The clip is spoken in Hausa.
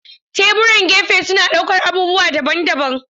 Teburan gefe suna ɗaukar abubuwa daban-daban.